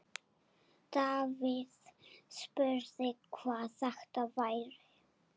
Davíð spurði, hvað þetta væri.